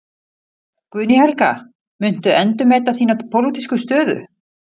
Guðný Helga: Muntu endurmeta þína pólitísku stöðu?